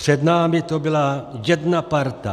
Před námi to byla jedna parta.